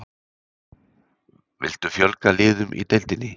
Viltu fjölga liðum í deildinni?